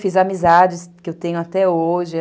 Fiz amizades que eu tenho até hoje.